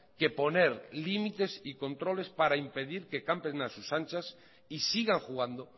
que poner límites y controles para impedir que campen a sus anchas y sigan jugando